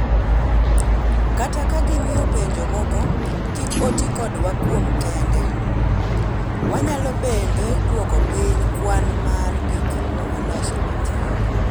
Kata ka gimiyo pinje moko kik oti kodwa kuom kinde, wanyalo bende duoko piny kwan mar gik ma waloso matin."